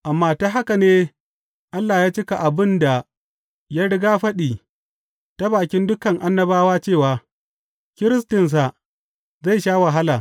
Amma ta haka ne Allah ya cika abin da ya rigyafaɗi ta bakin dukan annabawa cewa, Kiristinsa zai sha wahala.